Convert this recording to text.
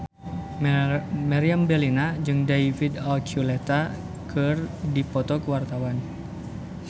Meriam Bellina jeung David Archuletta keur dipoto ku wartawan